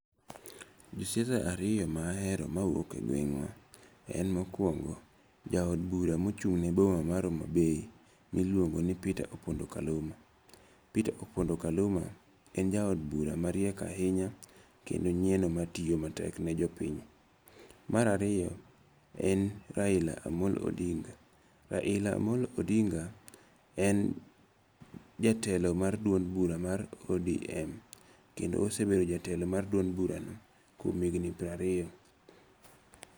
Josiasa ariyo mahero mawuok e gweng'wa en mokwongo ja od bura mochung' ne boma mar Homa Bay miluongo ni Peter Opondo Kaluma. Peter Opondo Kaluma en ja od bura mariek ahinya kendo nyieno matiyo matek ne jopiny. Mar ariyo en Raila Amolo Odinga. Raila Amolo Odinga en jatelo mar duond bura mar ODM. Kendo osebedo jatelo mar duond bura no kuom higni piero ariyo.